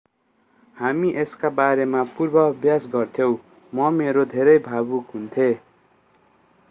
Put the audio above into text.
हामी यसका बारेमा पूर्वाभ्यास गर्थ्यौँ म मेरो धेरै भावुक हुन्थेँ